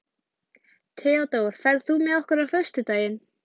Theódór, ferð þú með okkur á föstudaginn?